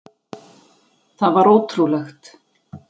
Það var ótrúlegt.